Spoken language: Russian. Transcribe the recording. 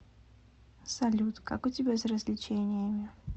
салют как у тебя с развлечениями